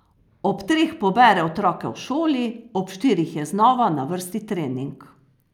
Ob treh pobere otroke v šoli, ob štirih je znova na vrsti trening.